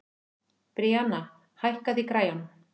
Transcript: Bríanna, hækkaðu í græjunum.